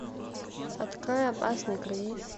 открой опасный круиз